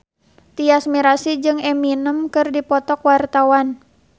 Tyas Mirasih jeung Eminem keur dipoto ku wartawan